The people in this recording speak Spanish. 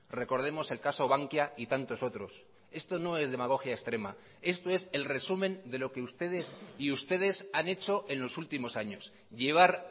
recordemos el caso bankia y tantos otros esto no es demagogia extrema esto es el resumen de lo que ustedes y ustedes han hecho en los últimos años llevar